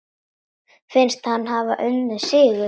Finnst hann hafa unnið sigur.